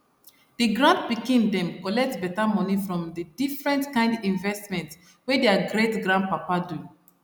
the grand pikin dem collect better money from the different kind investment wey their greatgrandpapa do